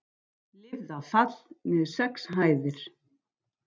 Lifði af fall niður sex hæðir